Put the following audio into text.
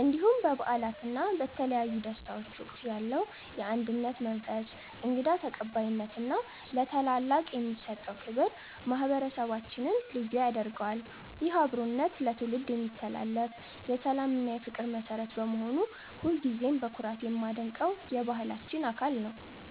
እንዲሁም በበዓላት እና በተለያዩ ደስታዎች ወቅት ያለው የአንድነት መንፈስ፣ እንግዳ ተቀባይነት እና ለታላላቅ የሚሰጠው ክብር ማህበረሰባችንን ልዩ ያደርገዋል። ይህ አብሮነት ለትውልድ የሚተላለፍ የሰላም እና የፍቅር መሠረት በመሆኑ ሁልጊዜም በኩራት የማደንቀው የባህላችን አካል ነው።